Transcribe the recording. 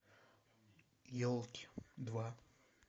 елки два